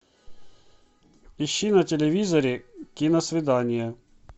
ищи на телевизоре киносвидание